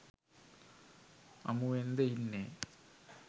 අමුවෙන්ද ඉන්නෙ?